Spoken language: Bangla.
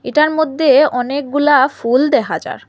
এটার মদ্যে অনেকগুলা ফুল দেহা যার।